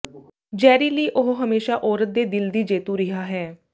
ਜੈਰੀ Lee ਉਹ ਹਮੇਸ਼ਾ ਔਰਤ ਦੇ ਦਿਲ ਦੀ ਜੇਤੂ ਰਿਹਾ ਹੈ